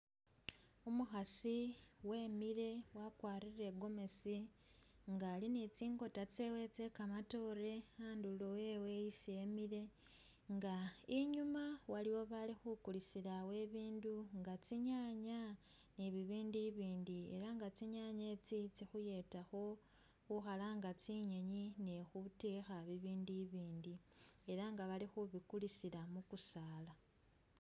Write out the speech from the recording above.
Umukhasi wemile wakwarile igomesi nga ali ni tsinkota tsewe tsekamatoore handulo hewe hesi emile nga inyuma waliwo bali khukulisilawo ibidu inga tsinyanya nibibindu ibindi nenga tsinyanye tsi tsikhuyetakho khukhalanga tsinyinyi ni khutekha bibindu ibindi elanga bali khubikulisila mikusaala.